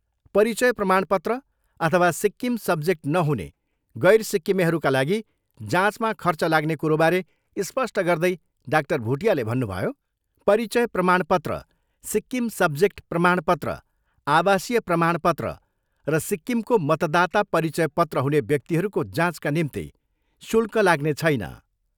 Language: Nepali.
परिचय प्रमाणपत्र अथवा सिक्किम सब्जेक्ट नहुने गैर सिक्किमेहरूका लागि जाँचमा खर्च लाग्ने कुरोबारे स्पष्ट गर्दै डाक्टर भुटियाले भन्नुभयो, परिचय प्रमाणपत्र, सिक्किम सब्जेक्ट प्रमाणपत्र, आवासीय प्रमाणपत्र र सिक्किमको मतदाता परिचय पत्र हुने व्यक्तिहरूको जाँचका निम्ति शुल्क लाग्ने छैन।